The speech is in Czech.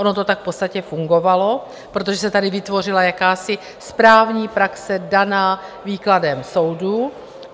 Ono to tak v podstatě fungovalo, protože se tady vytvořila jakási správní praxe daná výkladem soudů.